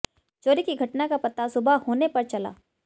चोरी की घटना का पता सुबह होने पर चला